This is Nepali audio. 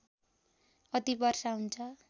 अति वर्षा हुन्छ